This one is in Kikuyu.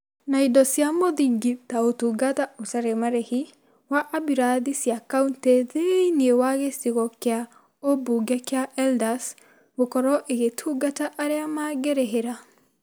na indo cia mũthingi ta ũtungata ũtarĩ marĩhi wa ambiurathi cia kauntĩ thĩinĩ wa gĩcigo kĩa ũmbunge kĩa Eldas gũkorwo ĩgetungata arĩa mangĩrĩhĩra.